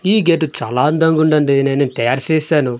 ఈ గేటు చాలా అందంగా ఉందండి నేను తయారు చేశాను.